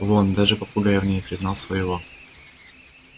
вон даже попугай в ней признал своего